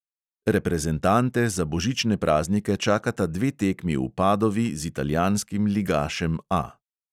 Reprezentante za božične praznike čakata dve tekmi v padovi z italijanskim ligašem A.